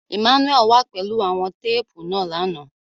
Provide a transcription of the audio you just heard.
Emmanuel wà pẹlu awọn teepu náa làná